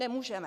Nemůžeme!